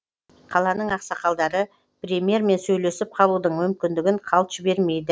қаланың ақсақалдары премьермен сөйлесіп қалудың мүмкіндігін қалт жібермейді